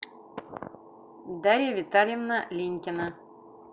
дарья витальевна линькина